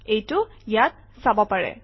এইটো ইয়াত চাব পাৰে